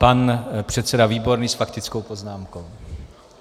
Pan předseda Výborný s faktickou poznámkou.